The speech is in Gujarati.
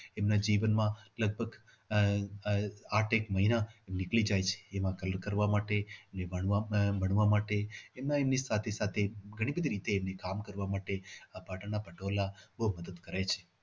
એમના જીવનમાં લગભગ આહ આહ પાંચેક મહિના નીકળી જાય છે એને તૈયાર કરવા માટે એને વણવા માટે એમના એની સાથે સાથે ઘણી બધી રીતે એને કામ કરવા માટે આ પાટણના પટોળા બહુ મદદ કરે છે.